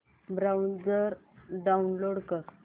browser download कर